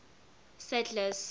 sadler's